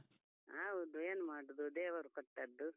ಹೌದು, ಏನ್ ಮಾಡುದು ದೇವರು ಕೊಟ್ಟದ್ದು.